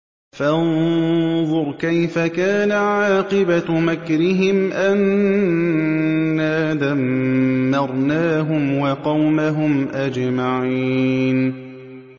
فَانظُرْ كَيْفَ كَانَ عَاقِبَةُ مَكْرِهِمْ أَنَّا دَمَّرْنَاهُمْ وَقَوْمَهُمْ أَجْمَعِينَ